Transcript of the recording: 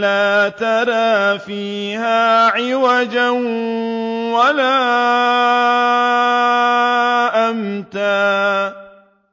لَّا تَرَىٰ فِيهَا عِوَجًا وَلَا أَمْتًا